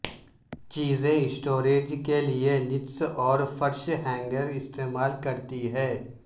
چیزیں اسٹوریج کے لئے نچس اور فرش ہینگر استعمال کرتی ہیں